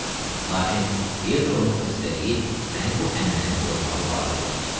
Lakin Pietro-nun xəstəliyi məni bu ənənəni pozmağa vadar eləyir.